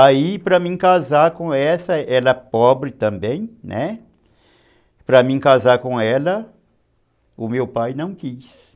Aí para mim casar com essa, ela pobre também, né, para mim casar com ela, o meu pai não quis.